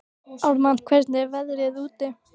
Ármann, hvernig er veðrið úti?